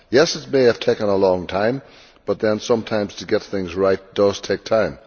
Yes, it may have taken a long time but then sometimes to get things right does take time.